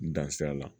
N dan sira la